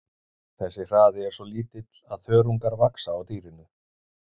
Þessi hraði er svo lítill að þörungar vaxa á dýrinu.